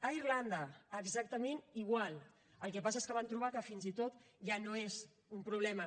a irlanda exactament igual el que passa és que van trobar que fins i tot ja no és un problema